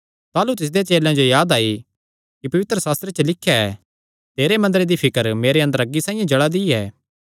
ताह़लू तिसदे चेलेयां जो याद आई कि पवित्रशास्त्रे च लिख्या ऐ तेरे मंदरे दी फिकर मेरे अंदर अग्गी साइआं जल़ा दी ऐ